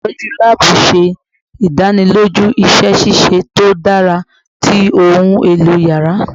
Olutọju laabu ṣe idaniloju iṣẹ ṣiṣe to dara ti ohun elo yàrá